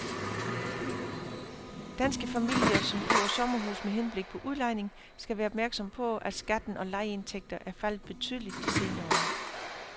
Danske familier, som køber sommerhus med henblik på udlejning skal være opmærksomme på, at skatten på lejeindtægter er faldet betydeligt de senere år.